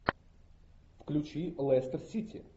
включи лестер сити